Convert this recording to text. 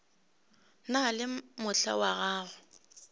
na le mohla wa go